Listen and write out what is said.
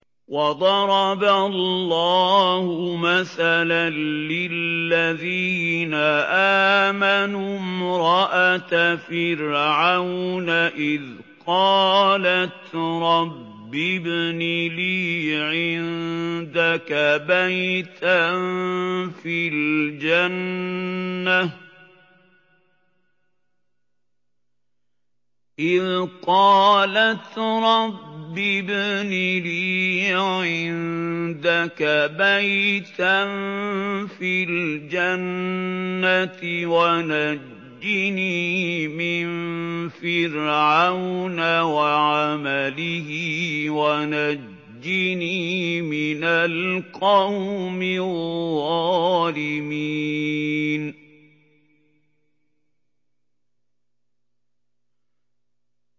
وَضَرَبَ اللَّهُ مَثَلًا لِّلَّذِينَ آمَنُوا امْرَأَتَ فِرْعَوْنَ إِذْ قَالَتْ رَبِّ ابْنِ لِي عِندَكَ بَيْتًا فِي الْجَنَّةِ وَنَجِّنِي مِن فِرْعَوْنَ وَعَمَلِهِ وَنَجِّنِي مِنَ الْقَوْمِ الظَّالِمِينَ